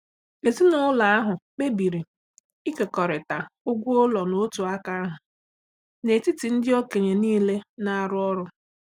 Ezinụlọ ahụ kpebiri ịkekọrịta ụgwọ ụlọ n'otu aka ahụ n'etiti ndị okenye niile na-arụ ọrụ.